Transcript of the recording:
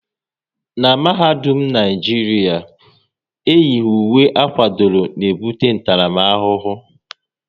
N'mahadum Naijiria, eyighi uwe akwadoro n'ebute ntaramahụhụ